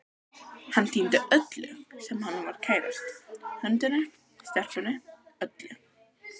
Hann týndi öllu sem honum var kærast, hundinum, stelpunni, öllu.